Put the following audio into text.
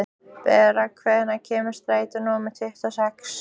Bera, hvenær kemur strætó númer tuttugu og sex?